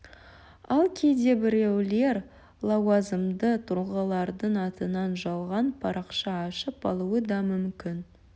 ал кейде біреулер лауазымды тұлғалардың атынан жалған парақша ашып алуы да мүмкін